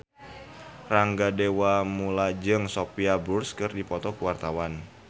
Rangga Dewamoela jeung Sophia Bush keur dipoto ku wartawan